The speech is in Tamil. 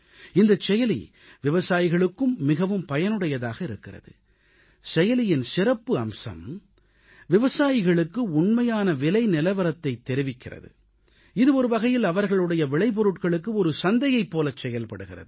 இந்தச் செயலி விவசாயிகளுக்கும் மிகவும் பயனுடையதாக இருக்கிறது செயலியின் சிறப்பு அம்சம் விவசாயிகளுக்கு உண்மையான விலை நிலவரத்தைத் தெரிவிக்கிறது இது ஒருவகையில் அவர்களுடைய விளைபொருட்களுக்கு சந்தையைப் போலச் செயல்படுகிறது